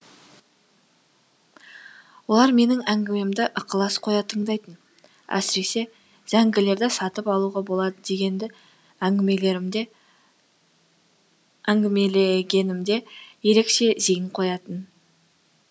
олар менің әңгімемді ықылас қоя тыңдайтын әсіресе зәңгілерді сатып алуға болады дегенді әңгімелегенімде ерекше зейін қоятын